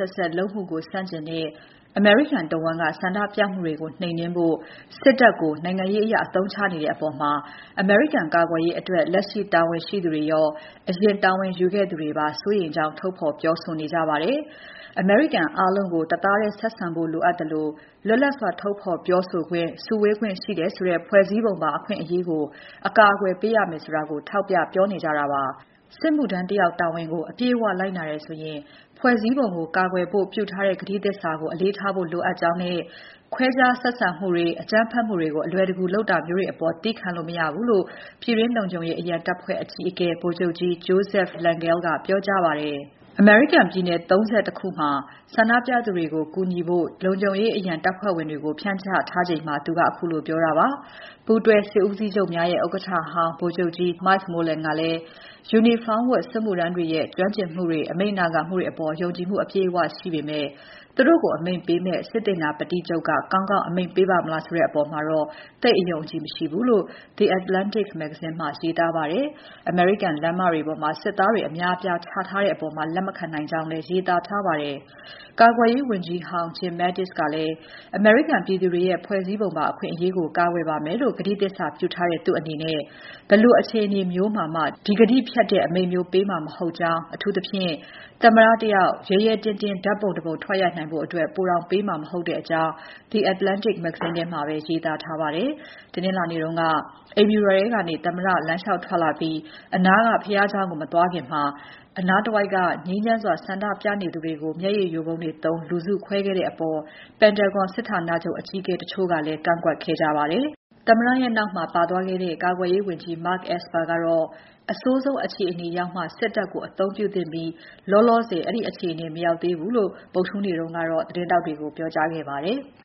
က်စက် လုပ်မှုကို ဆန့်ကျင်တဲ့ အမေရိကန်တဝန်းက ဆန္ဒပြမှုတွေကိုနှိမ်နှင်းဖို့ စစ်တပ်ကို နိုင်ငံရေးအရ အသုံးချနေတဲ့အပေါ် အမေရိကန်ကာကွယ်ရေးဆိုင်ရာ လက်ရှိတာဝန်ရှိသူတွေရော အရင်တာဝန်ယူခဲ့သူတွေကပါ စိုးရိမ်ကြောင်း ထုတ်ဖော်ပြောဆိုနေကြပါတယ်။ အမေရိကန်အားလုံးကို တသားထည်းဆက်ဆံဖို့ လိုအပ်သလို လွတ်လပ်စွာ ထုတ်ဖော်ပြောဆိုခွင့် စုဝေးခွင့်ရှိတယ်ဆိုတဲ့ ဖွဲ့စည်းပုံပါ အခွင့်အရေးကို အကာအကွယ်ပေးရမယ်ဆိုတာကို ထောက်ပြနေကြတာပါ။ စစ်မှုထမ်းတယောက် တာဝန်ကို အပြည့်အဝ လိုက်နာတယ်ဆိုရင်ဖွဲ့စည်းပုံကို ကာကွယ်ဖို့ ပြုထားတဲ့ ကတိသစ္စာကို အလေးထားဖို့လိုအပ်ကြောင်းနဲ့ ခွဲခြားဆက်ဆံမှုတွေ အကြမ်းဖက်မှုကို အလွယ်တကူ လုပ်တာမျိုးတွေအပေါ် သည်းခံလို့ မရဘူးလို့ ပြည်တွင်းလုံခြုံရေး အရန်တပ်ဖွဲ့အကြီးအကဲ ဗိုလ်ချုပ်ကြီး Joseph Lengyel ကပြောကြားပါတယ်။ အမေရိကန်ပြည်နယ် ၃၁ မှာ ဆန္ဒပြမှုတွေကို ကူညီထိန်းဖို့ ပြည်တွင်း လုံခြုံရေးအရန်တပ်ဖွဲ့တွေကို ဖြန့်ချထားချိန်မှာ သူကခုလိုပြောခဲ့တာပါ။ ပူးတွဲစစ်ဦးစီးချုပ်များရဲ့ ဥက္ကဋ္ဌဟောင်း Mike Mullen ကလည်း ယူနီဖောင်းဝတ် စစ်မှုထမ်းတွေရဲ့ ကျွမ်းကျင်မှု အမိန့်နာခံမှုအပေါ် ယုံကြည်မှု အပြည့်အဝရှိပေမဲ့ သူတို့ကိုအမိန့်ပေးမယ့် စစ်သေနာပတိချုပ်က ကောင်းကောင်းအမိန့်ပေးပါ့မလားဆိုတဲ့အပေါ်တော့ သိပ်အယုံအကြည်မရှိဘူးလို့ The Atlantic မဂ္ဂဇင်းမှာ ရေးသားခဲ့ပါတယ်။ အမေရိကန်လမ်းမတွေပေါ်မှာ စစ်သားတွေအများအပြားချထားတဲ့အပေါ် သူလက်မခံနိုင်ကြောင်းလည်း ရေးသားထားပါတယ်။ ကာကွယ်ရေးဝန်ကြီးဟောင်း Jim Mattis ကလည်း အမေရိကန်ပြည်သူတွေရဲ့ ဖွဲ့စည်းပုံပါအခွင့်အရေးကို ကာကွယ်ပါမယ်လို့ ကတိသစ္စာပြုထားတဲ့ သူ့အနေနဲ့ ဘယ်လိုအခြေအနေမျိုးနဲ့မှ ဒီကတိဖျက်တဲ့ အမိန့်မျိုး ပေးမှာ မဟုတ်ကြောင်း အထူးသဖြင့် သမ္မတ တယောက် ရဲရဲတင်တင်း ဓာတ်ပုံတပုံရိုက်နိုင်ဖို့အတွက် ပိုတောင်ပေးမှာ မဟုတ်ကြောင်း The Atlantic မဂ္ဂဇင်းထဲမှာပဲ ရေးသားထားပါတယ်။ တနင်္လာနေ့တုန်းက အိမ်ဖြူတော်ထဲကနေ သမ္မတ လမ်းလေ ျှာက်ထွက်လာပြီး အနားက ဘုရားကျောင်းကို မသွားခင် အနားတဝိုက် ငြိမ်းချမ်းစွာဆန္ဒပြနေသူတွေကို မျက်ရည်ယိုဗုံးတွေသုံးလူစုခွဲခဲ့တဲ့အပေါ် Pentagon စစ်ဌာနချုပ်အကြီးအကဲတချို့က ကန့်ကွက်ခဲ့ကြပါတယ်။ သမ္မတရဲ့နောက်မှာ ကာကွယ်ရေးဝန်ကြီး Mark Esper လည်း ပါပါတယ်။ကာကွယ်ရေးဝန်ကြီး Esper ကတော့ အဆိုးဆုံးအခြေအနေရောက်မှ စစ်တပ်ကို အသုံးပြုသင့်ပြီး လောလောဆယ် အဲဒီအခြေအနေ မရောက်သေးဘူးလို့ ဗုဒ္ဓဟူးနေ့က သတင်းထောက်တွေကို ပြောကြားခဲ့ပါတယ်။